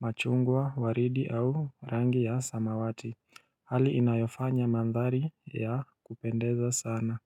machungwa waridi au rangi ya samawati hali inayofanya mandhari ya kupendeza sana.